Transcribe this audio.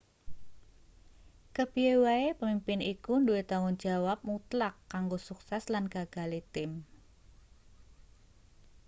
kepiye wae pemimpin iku duwe tanggung jawab mutlak kanggo sukses lan gagale tim